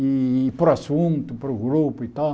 E para o assunto, para o grupo e tal.